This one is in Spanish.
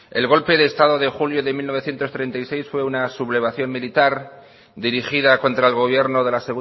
el golpe de estado de julio de mil novecientos treinta y seis fue una sublevación militar dirigida contra el gobierno de la